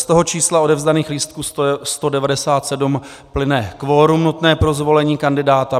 Z toho čísla odevzdaných lístků 197 plyne kvorum nutné pro zvolení kandidáta.